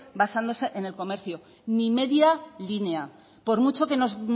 basándose en el comercio ni media línea por mucho que nos